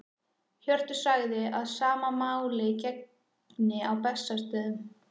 Hjörtur sagði að sama máli gegndi á Bessastöðum.